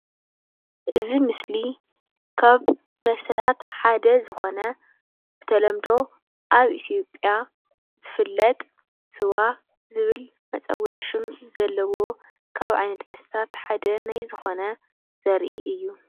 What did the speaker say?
እዚ ምስሊ ካብ መስተታት ሓደ ዝኮነ ብተለምዶ ኣብ ኢትዮጵያ ዝፍለጥ ስዋ ዝብል መፀውዒ ሹም ዘለዎ ካብ መስተታት ሓደ ናይ ዝኮነ ዘርኢ እዩ፡፡